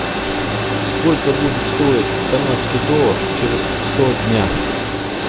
сколько будет стоить канадский доллар через сто дня